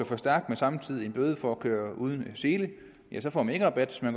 for stærkt og samtidig en bøde for at køre uden sele får man ikke rabat så